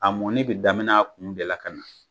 A mɔni bɛ daminɛ kun de la ka na